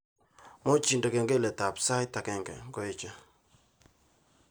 Muuch indene kengeletab sait agenge ngoeche